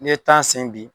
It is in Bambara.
N'i ye tan sen bi